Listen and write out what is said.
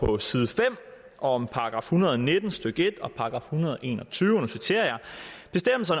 på side fem om § en hundrede og nitten stykke en